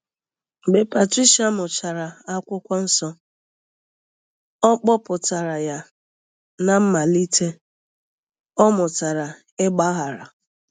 Mgbe Patricia mụchara Akwụkwọ Nsọ, ọ kpọpụtara ya na mmalite, ọ mụtara ịgbaghara.